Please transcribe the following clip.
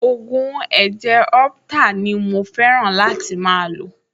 Ògùn ẹ̀jẹ̀ orheptal ni mo fẹ́ràn láti máa lò